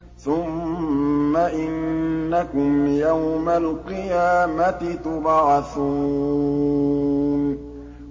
ثُمَّ إِنَّكُمْ يَوْمَ الْقِيَامَةِ تُبْعَثُونَ